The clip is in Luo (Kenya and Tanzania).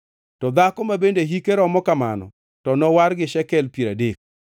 To dhako ma bende hike romo kamano to nowar gi shekel piero adek.